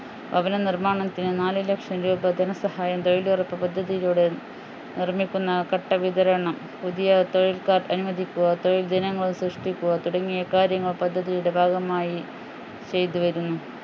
ഭവന നിർമ്മാണത്തിന് നാല് ലക്ഷം രൂപ ധന സഹായം തൊഴിലുറപ്പ് പദ്ധതിയിലൂടെ നിർമ്മിക്കുന്ന കട്ട വിതരണം പുതിയ തൊഴിൽ card അനുവദിക്കുക തൊഴിൽ ദിനങ്ങൾ സൃഷ്ടിക്കുക തുടങ്ങിയ കാര്യങ്ങൾ പദ്ധതിയുടെ ഭാഗമായി ചെയ്തുവരുന്നു